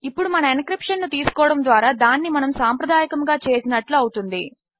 ఇప్పుడు మన ఎన్క్రిప్షన్ ను తీసుకోవడము ద్వారా దానిని మనము సాంప్రదాయకముగా చేసినట్లు అవుతుంది